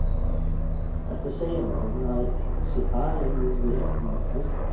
Ertu að segja mér að hún sé alein niðri hún Helga?